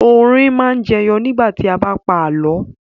Orin máa ń jẹyọ nígbà tí wọ́n bá ń pa àlọ́.